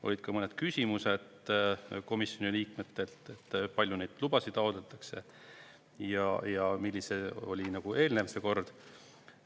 Olid ka mõned küsimused komisjoni liikmetelt, palju neid lubasid taotletakse ja milline oli nagu eelnev kord.